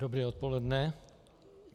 Dobré odpoledne.